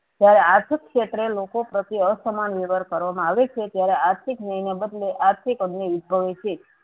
જયારે આર્થિક ક્ષેત્રે લોકો પ્રત્યે અસમાન વ્યવહાર કરવા માં આવે છે ત્યારે આર્થિક ન્યાયને બદલે આર્થિક અગ્નિ ઉદ્ભવે છે.